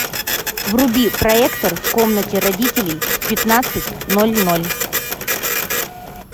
вруби проектор в комнате родителей в пятнадцать ноль ноль